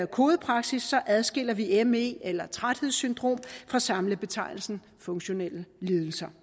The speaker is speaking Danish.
kodepraksis adskiller vi me eller træthedssyndrom fra samlebetegnelsen funktionelle lidelser